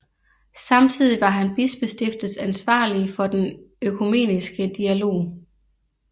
Samtidig var han bispestiftets ansvarlige for den økumeniske dialog